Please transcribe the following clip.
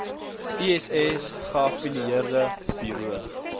iss geaffilieerde buro